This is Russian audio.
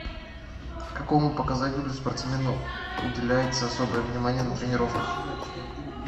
какому показателю спортсмена уделяется особое внимание на тренировках